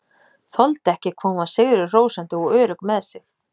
Þoldi ekki hvað hún var sigri hrósandi og örugg með sig.